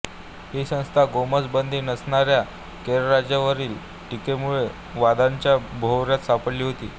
ही संस्था गोमांस बंदी नसणाऱ्या केरळ राज्यावरील टीकेमुळे वादाच्या भोवऱ्यात सापडली होती